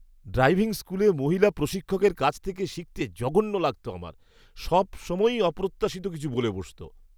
Driving স্কুলে মহিলা প্রশিক্ষকের কাছ থেকে শিখতে জঘন্য লাগত আমার। সবসময়ই অপ্রত্যাশিত কিছু বলে বসত।